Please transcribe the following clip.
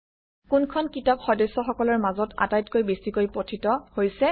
কোনখন কিতাপ সদস্যসকলৰ মাজত আটাইতকৈ বেছিকৈ পঠিত হৈছে